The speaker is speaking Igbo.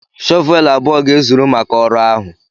shọvel abụọ ga-ezuru maka ọrụ ahụ.